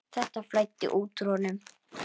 Þetta flæddi út úr honum.